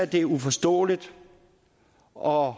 det er uforståeligt og